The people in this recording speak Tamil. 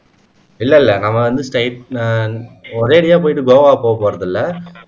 இல்ல இல்ல நம்ம வந்து straight ஒரே அடியா போயிட்டு கோவா போக போறதில்லை